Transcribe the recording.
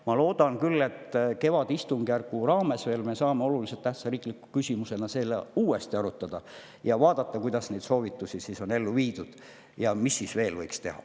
Ma loodan küll, et kevadistungjärgu ajal me saame oluliselt tähtsa riikliku küsimusena seda uuesti arutada ning vaadata, kuidas neid soovitusi on ellu viidud ja mida veel võiks teha.